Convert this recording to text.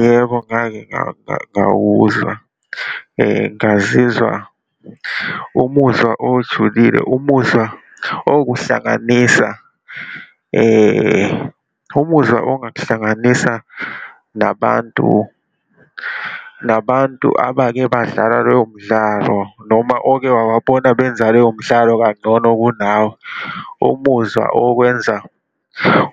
Yebo, ngake ngawuzwa, ngazizwa umuzwa ojulile, umuzwa okuhlanganisa, umuzwa ongakuhlanganisa nabantu, nabantu abakebadlala loyo mdlalo noma oke wawabona benza loyo mdlalo kangcono kunawe, umuzwa okwenza